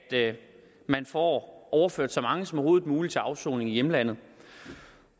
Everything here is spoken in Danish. man får overført så mange som overhovedet muligt til afsoning i hjemlandet